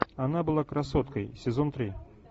она была красоткой сезон три